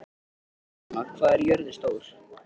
Naranja, hvað er jörðin stór?